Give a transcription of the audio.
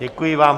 Děkuji vám.